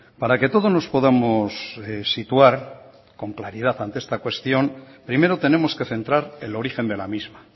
para que todos nos podamos situar con claridad ante esta cuestión primero tenemos que centrar el origen de la misma